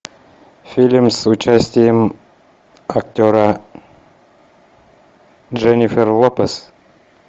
фильм с участием актера дженнифер лопес